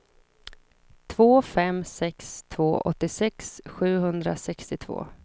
två fem sex två åttiosex sjuhundrasextiotvå